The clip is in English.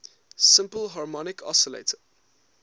simple harmonic oscillator